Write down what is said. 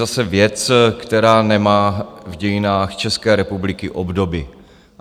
Zase věc, která nemá v dějinách České republiky obdoby.